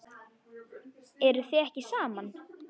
Eruð þið ekki saman?